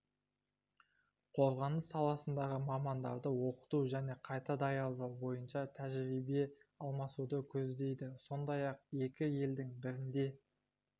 қорғаныс саласындағы мамандарды оқыту және қайта даярлау бойынша тәжірибе алмасуды көздейді сондай-ақ екі елдің бірінде